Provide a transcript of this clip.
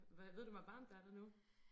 Hvad ved du hvor varmt der er der nu?